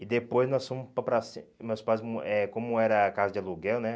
E depois nós fomos para a pracin, e meus pais, hum eh como era casa de aluguel, né?